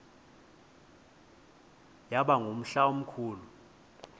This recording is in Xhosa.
yaba ngumhla omkhulu